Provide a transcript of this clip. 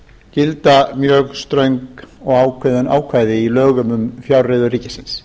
gilda mjög ströng og ákveðin ákvæði í lögum um fjárreiður ríkisins